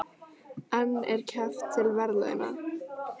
En er keppt til verðlauna?